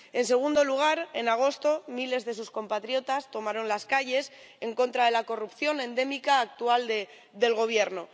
En segundo lugar, en agosto miles de sus compatriotas tomaron las calles en contra de la corrupción endémica actual del Gobierno.